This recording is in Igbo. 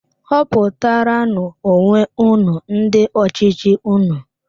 Họputara nú onwe unu ndị ọchịchị unu!